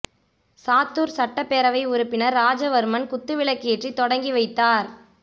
சாத்தூர் சட்டப்பேரவை உறுப்பினர் ராஜவர்மன் குத்து விளக்கு ஏற்றி தொடங்கி வைத்தார்